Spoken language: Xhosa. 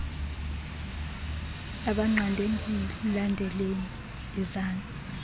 abanqande ndilandeleni yizani